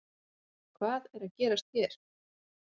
Hvað er að gerast hér